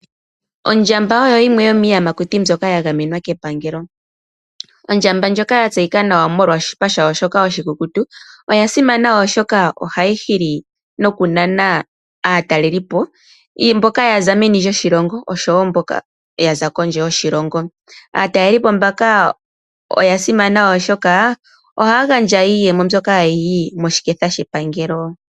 Ondjamba oyo yimwe yomiiyamakuti mbyoka ya gamenwa kepangelo. Ondjamba ndjoka ya tseyika nawa molwa oshawo shawo shoka oshikukutu oya simana oshoka ohayi hili nokunana aataleli po, mboka yaza meni lyoshilongo oshowo mboka yaza kondje yoshilongo. Aataleli po mbaka oya simana oshoka ohaya gandja iiyemo mbyoka hayi yi moshiketha shepangelo.